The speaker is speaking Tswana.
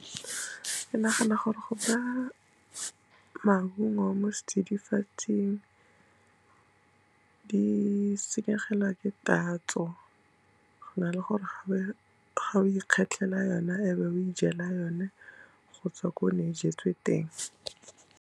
Ke nagana gore go ba maungo mo setsidifatsing di senyegelwa ke tatso, go na le gore ga o ikgethela ona, e be o ijela yone, go tswa ko ne jetswe teng.